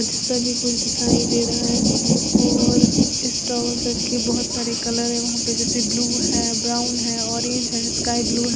के कुछ दिखाई दे रहा है और स्टॉल के बहोत सारे कलर दिखाई दे रहे हैं जैसे ब्लू हैं ब्राउन है ऑरेंज है स्काई ब्लू है।